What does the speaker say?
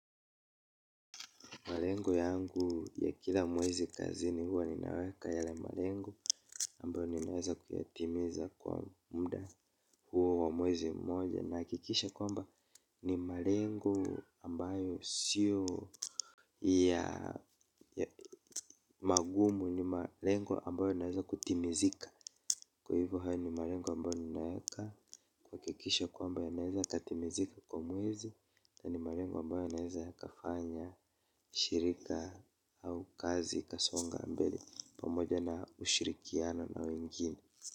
Malengo yangu ya kila mwezi kazini huwa ninaweka yale malengo ambayo ninaweza kuyatimiza kwa muda huo wa mwezi mmoja. Nahakikisha kwamba ni malengo ambayo siyo ya magumu ni malengo ambayo ninaweza kutimizika. Kwa hivyo haya ni malengo ambayo ninaweka kuha kikisha kwamba ya naweza katimizika kwa mwezi. Na ni malengo ambayo yanaweza yakafanya shirika au kazi ikasonga mbele pamoja na ushirikiano na wengine.